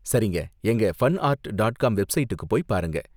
சரிங்க! எங்க fun art dot com வெப்ஸைடுக்கு போய் பாருங்க.